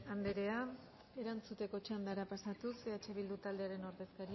andrea erantzuteko txandara pasatuz eh bildu taldearen ordezkaria